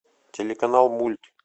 телеканал мульт